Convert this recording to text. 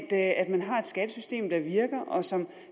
at man har skattesystem der virker og som